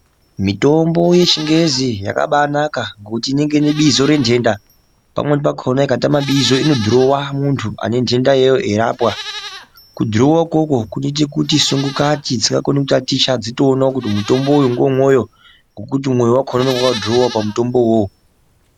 Mitombo yechingezi yakaba naka kuti inenge ine bizo rentenda pamweni pakhona ikatama bizo inodhurowa muntu ane ntenda iyoyo eirapwa. Kudhurowa ukwokwo kunoite kuti sungu kati dzisingakoni kutaticha dzitoonawo kuti mutombo uyu ngewemwoyo ngekuti mwoyo wakhona unenge wakadhurowiwa pamutombo uwowo.